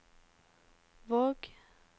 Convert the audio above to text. Våg